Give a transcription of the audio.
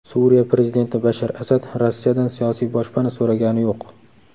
Suriya prezidenti Bashar Asad Rossiyadan siyosiy boshpana so‘ragani yo‘q.